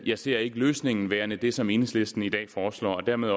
jeg ser ikke løsningen som værende det som enhedslisten i dag foreslår og dermed